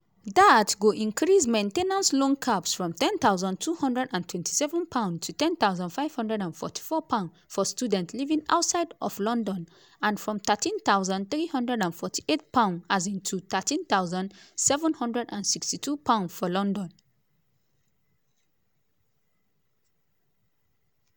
dat go increase main ten ance loan caps from £10227 to £10544 for students living outside of london and from £13348 um to £13762 for london.